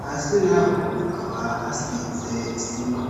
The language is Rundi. hasi naho hakaba hasize isima